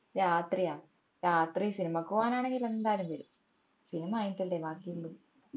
രാത്രിയാ രാത്രി സിനിമക്ക് പോവ്വനാണേൽ എന്തായാലും വരും സിനിമ കഴിഞ്ഞിട്ടല്ലേ ബാക്കി ഉള്ളു